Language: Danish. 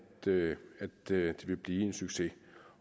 det det vil blive en succes